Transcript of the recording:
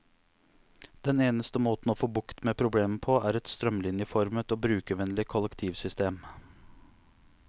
Den eneste måte å få bukt med problemet på, er et strømlinjeformet og brukervennlig kollektivsystem.